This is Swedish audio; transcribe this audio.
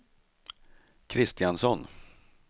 Kristiansson